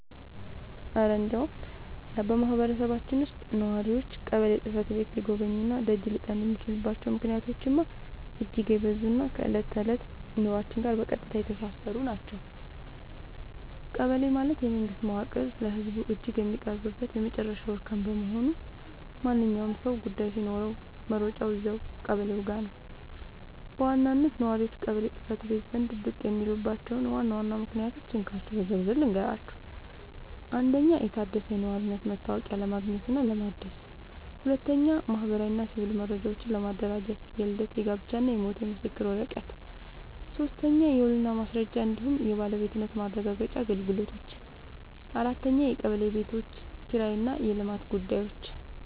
እረ እንደው በማህበረሰባችን ውስጥ ነዋሪዎች ቀበሌ ጽሕፈት ቤትን ሊጎበኙና ደጅ ሊጠኑ የሚችሉባቸው ምክንያቶችማ እጅግ የበዙና ከዕለት ተዕለት ኑሯችን ጋር በቀጥታ የተሳሰሩ ናቸው! ቀበሌ ማለት የመንግስት መዋቅር ለህዝቡ እጅግ የሚቀርብበት የመጨረሻው እርከን በመሆኑ፣ ማንኛውም ሰው ጉዳይ ሲኖረው መሮጫው እዚያው ቀበሌው ጋ ነው። በዋናነት ነዋሪዎች ቀበሌ ጽ/ቤት ዘንድ ብቅ የሚሉባቸውን ዋና ዋና ምክንያቶች እንካችሁ በዝርዝር ልንገራችሁ፦ 1. የታደሰ የነዋሪነት መታወቂያ ለማግኘትና ለማደስ 2. ማህበራዊና ሲቪል መረጃዎችን ለማደራጀት (የልደት፣ የጋብቻና የሞት ምስክር ወረቀት) 3. የውልና ማስረጃ እንዲሁም የባለቤትነት ማረጋገጫ አገልግሎቶች 4. የቀበሌ ቤቶች ኪራይና የልማት ጉዳዮች